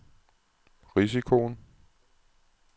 risikoen